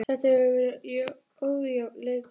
Þetta hefur verið ójafn leikur.